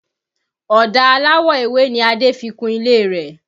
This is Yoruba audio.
Ọ̀dà aláwọ̀ ewé ni Adé fi kun ilé rẹ̀